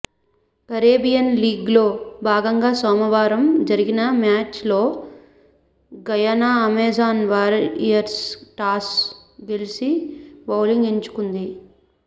Caribbean లీగ్లో భాగంగా సోమవారం జరిగిన మ్యాచ్లో గయానా అమెజాన్ వారియర్స్ టాస్ గెలిచి బౌలింగ్ ఎంచుకుంది